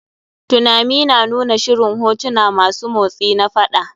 Tunami na nuna shirin hotuna masu motsi na faɗa.